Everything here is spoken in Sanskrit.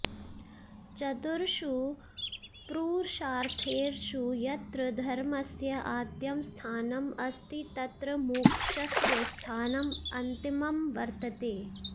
चतुर्षु प्रुरुषार्थेषु यत्र धर्मस्य आद्यं स्थानम् अस्ति तत्र मोक्षस्य स्थानम् अन्तिमं वर्तते